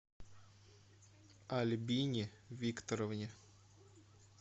альбине викторовне